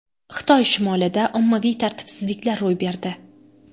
Xitoy shimolida ommaviy tartibsizliklar ro‘y berdi.